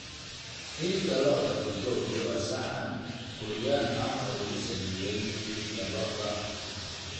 Hilibka lo'da bulgogi waa saxan Kuuriyaan ah oo lagu sameeyay hilibka lo'da.